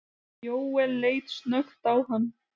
Jóel leit snöggt á hann.